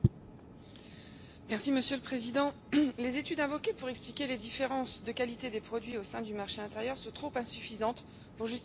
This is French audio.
Monsieur le Président, les études invoquées pour expliquer les différences de qualité des produits au sein du marché intérieur sont insuffisantes pour justifier l'adoption de ce texte.